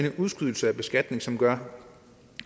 en udskydelse af beskatning som gør